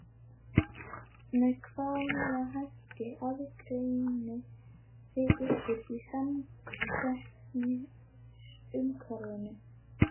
Með hvaða hætti aðgreinið þið ykkur í samkeppnisumhverfinu?